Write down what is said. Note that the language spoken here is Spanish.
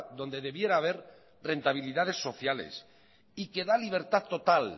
donde debiera haber rentabilidades sociales y que da libertad total